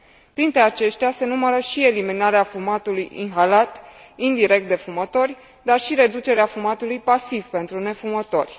Printre aceștia se numără și eliminarea fumatului inhalat indirect de fumători, dar și reducerea fumatului pasiv pentru nefumători.